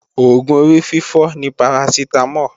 Oògùn orífífọ́ ni Parasitamol